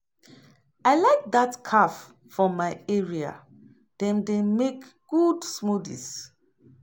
I like dat cafe for my area; dem dey make good smoothies.